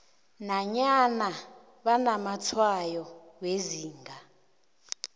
nanyana banamatshwayo wezinga